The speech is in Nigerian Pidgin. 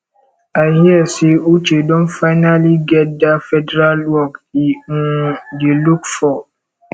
i hear say uche don finally get dat federal work e um dey look for